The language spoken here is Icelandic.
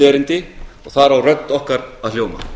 og þar á rödd okkar að hljóma